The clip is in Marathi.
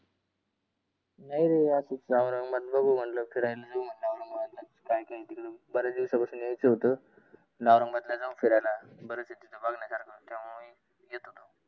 नाही रे असच औरंगाबाद बघु म्हटलं फिरायला जाऊ म्हटलं औरंगाबादला. काय काय आहे तिकडंं बऱ्याच दिवसापासुन यायच होतं. मग औरंगाबादला जाऊ फिरायला बऱ्या बघण्यासारख त्यामुळे येत होतो.